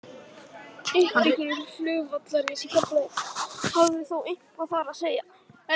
Uppbygging flugvallarins í Keflavík hafði þó eitthvað þar að segja.